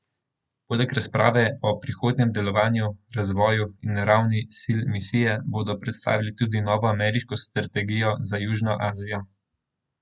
Poleg razprave o prihodnjem delovanju, razvoju in ravni sil misije bodo predstavili tudi novo ameriško strategija za Južno Azijo.